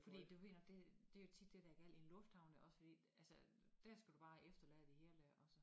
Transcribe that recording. Fordi du ved nok det det jo tit det der er galt i en lufthavn der også fordi altså der skal du bare efterlade det hele også